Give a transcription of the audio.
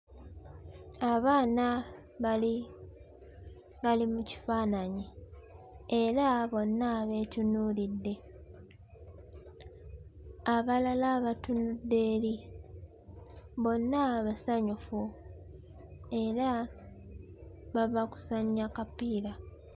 Abaana bali bali mu kifaananyi era bonna beetunuulidde abalala batunudde eri bonna basanyufu era bava kuzannya kapiira.